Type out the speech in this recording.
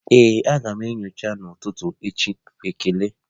Aga m enyocha n'ụtụtụ echi, ekele.